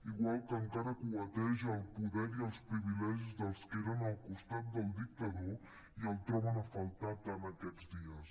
igual que encara cueteja el poder i els privilegis dels que eren al costat del dictador i el troben a faltar tant aquests dies